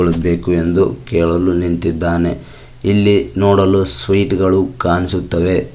ಬೇಕು ಎಂದು ಕೇಳಲು ನಿಂತಿದ್ದಾನೆ ಇಲ್ಲಿ ನೋಡಲು ಸ್ವೀಟ್ ಗಳು ಕಾಣಿಸುತ್ತವೆ.